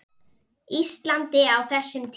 Íslandi á þessum tíma.